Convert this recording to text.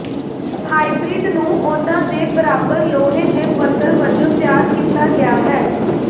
hybrid ਨੂੰ ਉਨ੍ਹਾਂ ਦੇ ਬਰਾਬਰ ਲੋਹੇ ਦੇ ਬਦਲ ਵਜੋਂ ਤਿਆਰ ਕੀਤਾ ਗਿਆ ਹੈ